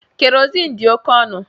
Kerosin dị oke ọnụ